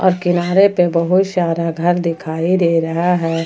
और किनारे पे बहुत सारा घर दिखाई दे रहा है।